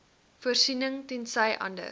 voorsiening tensy anders